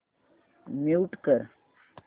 mute कर